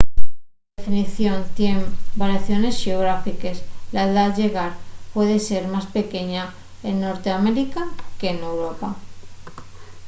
la definición tien variaciones xeográfiques la edá llegal puede ser más pequeña en norteamérica que n'europa